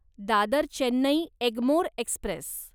Dadar Chennai Egmore Express